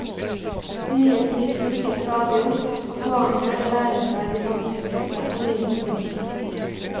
Nye triks dukker stadig opp, og poenget er å lære seg de vanskeligste og nyeste tekene.